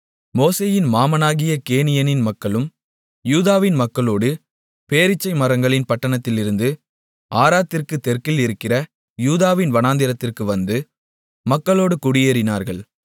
மோசேயின் மாமனாகிய கேனியனின் மக்களும் யூதாவின் மக்களோடு பேரீச்சை மரங்களின் பட்டணத்திலிருந்து ஆராத்திற்குத் தெற்கில் இருக்கிற யூதாவின் வனாந்திரத்திற்கு வந்து மக்களோடு குடியேறினார்கள்